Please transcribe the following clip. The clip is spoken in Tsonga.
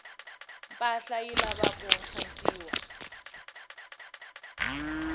mpahla yi lavaku hlantswiwa